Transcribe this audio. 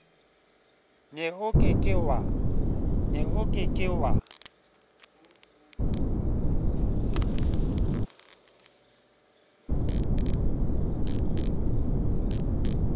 ne o ke ke wa